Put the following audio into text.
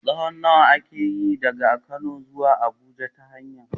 tsawon nawa ake yi daga Kano zuwa Abuja ta hanya?